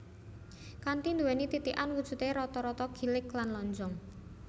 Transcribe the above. Kanthi nduwéni titikan wujudé rata rata gilig lan lonjong